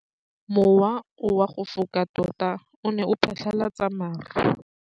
Mowa o wa go foka tota o ne wa phatlalatsa maru.